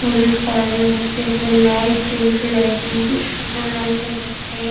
হলুদ কালার -এর মধ্যে ওখানে লাইট জ্বলছে লাইট -গুলি খুব সুন্দর লাগছে দেখতে।